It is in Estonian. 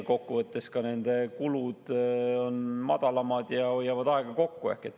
Kokku võttes kulud on madalamad ja hoitakse aega kokku.